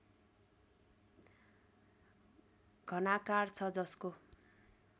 घनाकार छ जसको